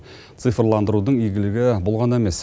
цифрландырудың игілігі бұл ғана емес